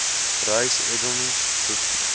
reise edms bpk